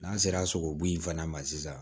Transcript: N'an sera sogobu in fana ma sisan